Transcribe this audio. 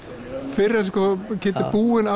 fyrr en Kiddi er búinn